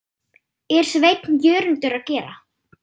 er Sveinn Jörundur að gera?